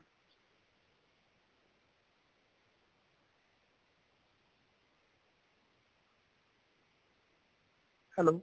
hello